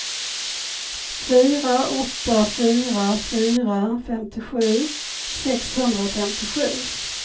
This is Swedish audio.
fyra åtta fyra fyra femtiosju sexhundrafemtiosju